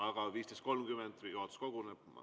Aga 15.30 juhatus koguneb.